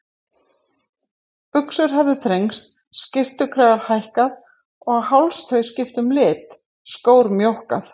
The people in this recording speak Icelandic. Buxur höfðu þrengst, skyrtukragar hækkað, hálstau skipt um lit, skór mjókkað.